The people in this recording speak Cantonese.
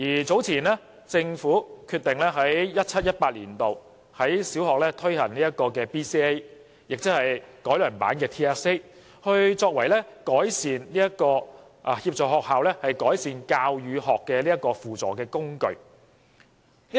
早前政府決定在 2017-2018 年度，在小學推行 BCA， 亦即改良版的 TSA， 作為協助學校改善教與學的輔助工具。